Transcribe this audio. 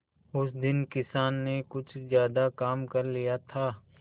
उस दिन किसान ने कुछ ज्यादा काम कर लिया था